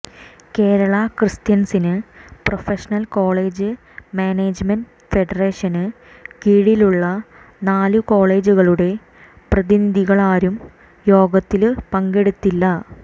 Kerala Christian professional college management federation കീഴിലുള്ള നാല് കോളജുകളുടെ പ്രതിനിധികളാരും യോഗത്തില് പങ്കെടുത്തില്ല